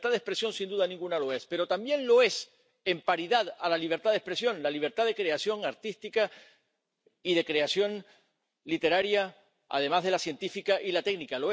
La libertad de expresión, sin duda ninguna, lo es, pero también lo es —en paridad a la libertad de expresión— la libertad de creación artística y de creación literaria, además de la científica y la técnica.